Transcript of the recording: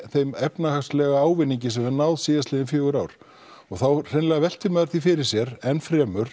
þeim efnahagslega ávinningi sem við höfum náð síðastliðin fjögur ár og þá hreinlega veltir maður því fyrir sér